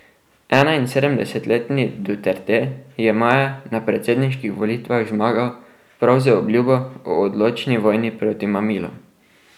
Enainsedemdesetletni Duterte je maja na predsedniških volitvah zmagal prav z obljubo o odločni vojni proti mamilom.